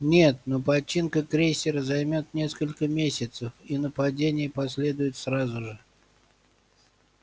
нет но починка крейсера займёт несколько месяцев и нападение последует сразу же